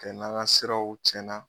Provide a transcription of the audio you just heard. Kɛ n'an ka siraw tiɲɛnna